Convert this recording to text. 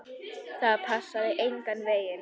Það passaði engan veginn.